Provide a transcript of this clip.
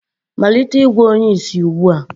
malite ịgwọ onye ìsì ugbu a!